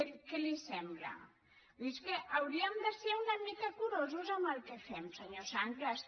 què li sembla és que hauríem de ser una mica curosos amb el que fem senyor sanglas